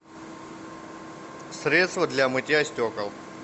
средство для мытья стекол